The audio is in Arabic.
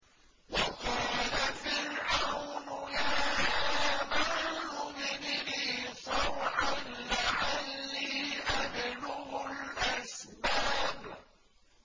وَقَالَ فِرْعَوْنُ يَا هَامَانُ ابْنِ لِي صَرْحًا لَّعَلِّي أَبْلُغُ الْأَسْبَابَ